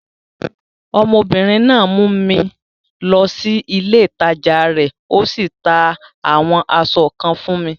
Ọmọbìnrin náà mú mi lọ sí ilé ìtajà rẹ̀, o sì ta àwọn aṣọ kan fún mi.